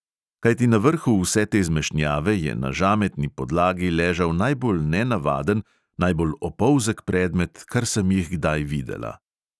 Kajti na vrhu vse te zmešnjave je na žametni podlagi ležal najbolj nenavaden, najbolj opolzek predmet, kar sem jih kdaj videla.